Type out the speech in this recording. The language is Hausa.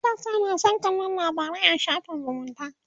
matasa ma San kallan labarai a shafin zumunta